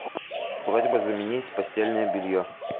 просьба заменить постельное белье